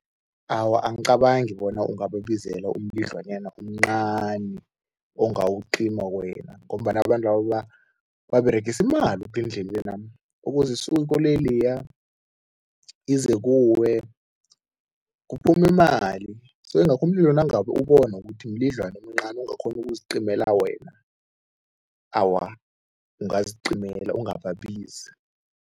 Awa, angicabangi bona ungababizela umlidlwanyana omncani ongawucima wena ngombana abantwaba baberegisa imali ngendlelena, ukuze isuke ikoloyi leya, ize kuwe, kuphuma imali so ingakho umlilo nangabe ubona ukuthi mlidlwana omncani ongakghona ukuzicimela wena, awa ungazicimela ungababizi.